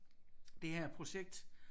Det her projekt